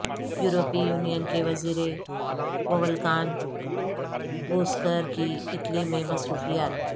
یورپی یونین کے وزیر وولکان بوزکر کی اٹلی میں مصروفیات